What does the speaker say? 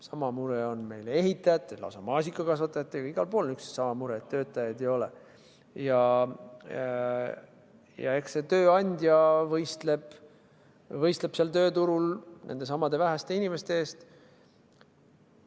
Sama mure on meil ehitajatega, lausa maasikakasvatajatega, igal pool on üks ja sama mure, et töötajaid ei ole, ja eks see tööandja võistleb sel tööturul nendesamade väheste inimeste eest.